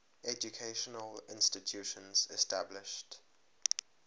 educational institutions established